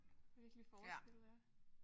Virkelig forskel ja